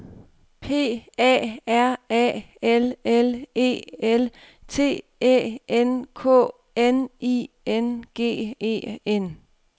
P A R A L L E L T Æ N K N I N G E N